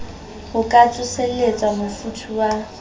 ho ka tsoselletsa mofuthu wa